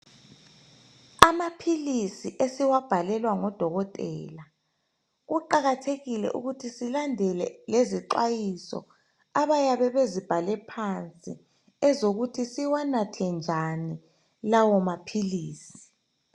Amaphilisi esiwabhalelwa ngodokotela kuqakathekile ukuthi silandele ngezixwayiso abayabe bezibhale phansi ezokuthi siwanathe njani lawo maphilisi.